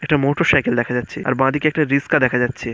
একটা মটোরসাইকেল দেখা যাচ্ছে। আর বাদিকে একটা রিক্সা দেখা যাচ্ছে।